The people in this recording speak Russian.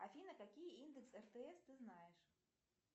афина какие индексы ртс ты знаешь